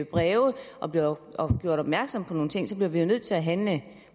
breve og bliver gjort opmærksom på nogle ting så bliver vi nødt til at handle